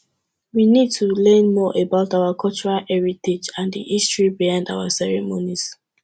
we need to learn more about our cultural heritage and di history behind our ceremonies